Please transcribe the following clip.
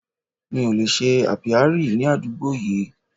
Mi ò lè ṣe Apiary ní àdúgbò yìí.